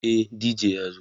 e DJ ya zo